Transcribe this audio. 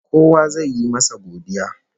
Kowa zai yi masa godiya